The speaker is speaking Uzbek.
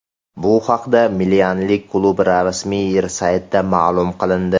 Bu haqda milanliklar klubi rasmiy saytida ma’lum qilindi .